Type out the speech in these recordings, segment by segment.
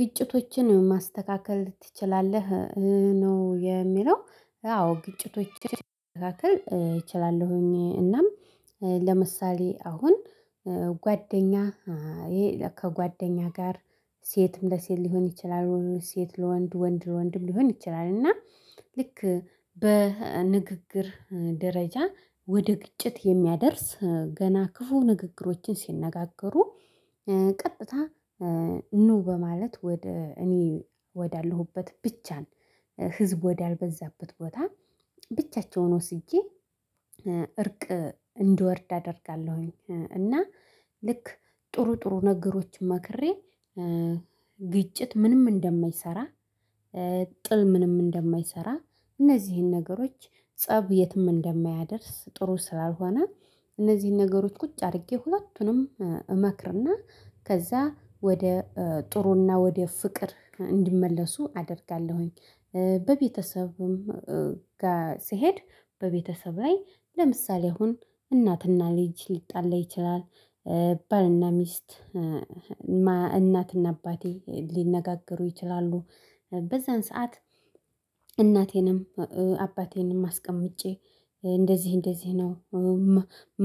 ግጭቶችን ማስተካከል ትችላለህ? ነው የሚለው አዎ ግጭቶችን ማስተካከል እችላለሁ። እናም። ለምሳሌ አሁን ጓደኛ ከጓደኛ ጋር ሴትም ለሴት ሊሆን ይችላል። ሴት ለወንድ ወንድ ለወንድም ሊሆን ይችላል። እና ልክ በንግግር ደረጃ ወደ ግጭት የሚያደርስ ገና ክፉ ንግግሮችን ሲነጋገሩ። ቀጥታ ኑ በማለት ወደ እኔ ወዳለሁበት ብቻን ህዝብ ወዳልበዛበት ቦታ ብቻቸውን ወስጄ እርቅ እንድወርድ አደርጋለሁኝ። እና ልክ ጥሩ ጥሩ ነገሮችን መክሬ ግጭት ምንም እንደማይሰራ። ጥል ምንም እንደማይሰራ። እነዚህን ነገሮች ፀብ የትም እንደማያደርስ ጥሩ ስላልሆነ። እነዚህን ነገሮች ቁጭ አድርጌ ሁለቱንም እመክርና ከዛ ወደ ጥሩና ወደ ፍቅር እንዲመለሱ አደርጋለሁኝ። በቤተሰብም ጋር ስሄድ በቤተሰብ ላይ ለምሳሌ አሁን እናትና ልጅ ሊጣላ ይችላል። ባልና ሚስት እናትና አባቴ ሊነጋገሩ ይችላሉ። በዛን ሰዓት እናቴንም አባቴንም አስቀምጬ እንደዚህ እንደዚህ ነው።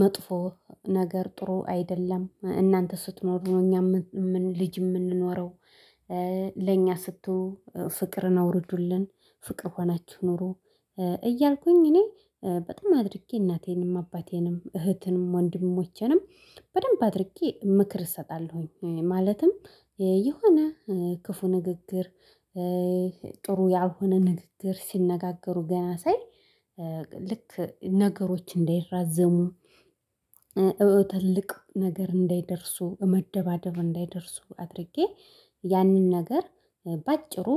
መጥፎ ነገር ጥሩ አይደለም እናንተ ስትኖር እኛ ልጅ የምንኖረው ለእኛ ስትሆን ፍቅርን አውርዱልን ፍቅር ሆናችሁ ፕኑሩ። እያልኩኝ እኔ በጣም አድርጌ እናቴንም አባቴንም እህቴንም ወንድሞቼንም በደንብ አድርጌ ምክር እሰጣለሁኝ። ማለትም የሆነ ክፉ ንግግር ጥሩ ያልሆነ ንግግር ሲነጋገሩ ገና ሳይ ልክ ነገሮች እንዳይራዘሙ። ትልቅ ነገር እንዳይደርሱ መደባደብ እንዳይደርሱ አድርጌ ያንን ነገር በአጭሩ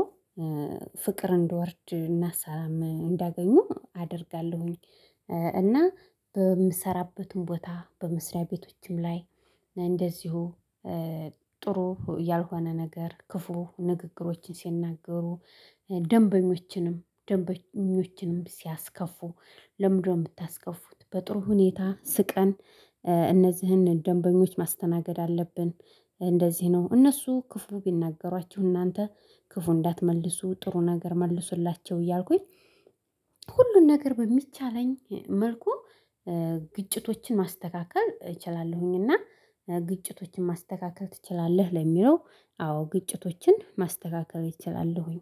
ፍቅር እዲወርድ እናሳም እንዳገኙ አደርጋለሁኝ። እና በምሰራበትም ቦታ በመስሪያ ቤቶችም ላይ እንደዚሁ ጥሩ ያልሆነ ነገር ክፉ ንግግሮችን ሲናገሩ ደንበኞችንም ደንበኞችንም ሲያስከፉ። ለምንድነው የምታስከፉት? በጥሩ ሁኔታ ስቀን እነዚህን ደንበኞች ማስተናገድ አለብን። እንደዚህ ነው እነሱ ክፉ ቢናገሯችሁ እናንተ ክፉ እንዳትመልሱ ጥሩ ነገር መልሱላቸው እያልኩኝ። ሁሉን ነገር በሚቻለኝ መልኩ ግጭቶችን ማስተካከል እችላለሁኝ። እና ግጭቶችን ማስተካከል ትችላለህ? ለሚለው አዎ ግጭቶችን ማስተካከል እችላሉሁኚ።